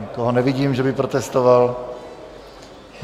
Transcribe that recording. Nikoho nevidím, že by protestoval.